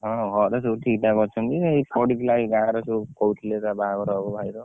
ହଁ ଘରେ ସବୁ ଠିକ ଠାକ ଅଛନ୍ତି ଏଇ ପଡିଥିଲା ଏଇ ବାହାଘର ରେ ସବୁ ହାଉଥିଲା ତ ବାହାଘର ହବ ଭାଇ ର